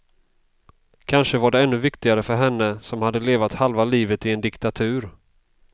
Kanske var det ännu viktigare för henne som hade levat halva livet i en diktatur.